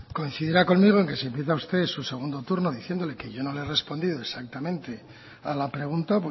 coincidirá conmigo en que si empieza usted su segundo turno diciendo que yo no le respondido exactamente a la pregunta